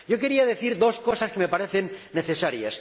Quiero decir dos cosas que me parecen necesarias.